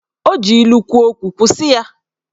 O ji ilu kwuo okwu, kwụsị ya!